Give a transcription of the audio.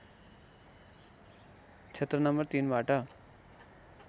क्षेत्र नम्बर ३ बाट